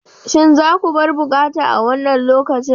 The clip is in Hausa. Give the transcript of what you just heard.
Shin za ku bar bukkata a wannan lokacin!